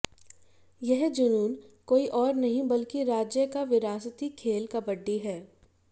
यह जुनून कोई और नहीं बल्कि राज्य का विरासती खेल कबड्डी है